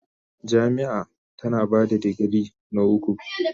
Jami'a tana ba da digiri na uku.